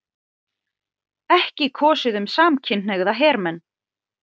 Ekki kosið um samkynhneigða hermenn